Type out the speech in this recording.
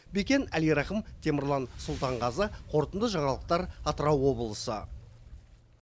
бекен әлирахым темірлан сұлтанғазы қорытынды жаңалықтар атырау облысы